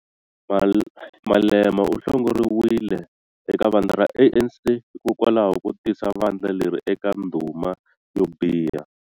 Malema u hlongoriwile eka vandla ra ANC hikokwalaho ko tisa vandla leri eka ndhuma yo biha.